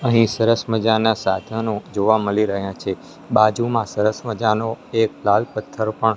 અહીં સરસ મજાના સાધનો જોવા મલી રહ્યા છે બાજુમાં સરસ મજાનો એક લાલ પથ્થર પણ--